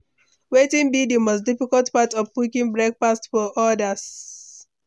Wetin be di most difficult part of cooking breakfast for odas?